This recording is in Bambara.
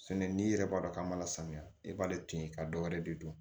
Sɛnɛ n'i yɛrɛ b'a dɔn k'a ma lasamiya i b'ale to yen ka dɔ wɛrɛ de don